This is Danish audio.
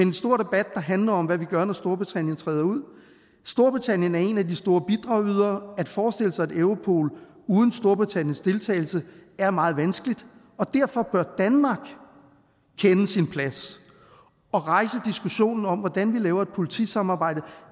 en stor debat der handler om hvad vi gør når storbritannien træder ud storbritannien er en af de store bidragydere og at forestille sig et europol uden storbritanniens deltagelse er meget vanskeligt og derfor bør danmark kende sin plads og rejse diskussionen om hvordan vi laver et politisamarbejde